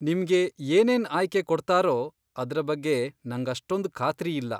ನಿಮ್ಗೆ ಏನೇನ್ ಆಯ್ಕೆ ಕೊಡ್ತಾರೋ ಅದ್ರ ಬಗ್ಗೆ ನಂಗಷ್ಟೊಂದ್ ಖಾತ್ರಿ ಇಲ್ಲ.